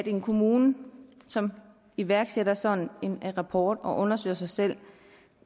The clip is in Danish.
en kommune som iværksætter sådan en rapport og undersøger sig selv